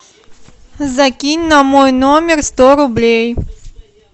закинь на мой номер сто рублей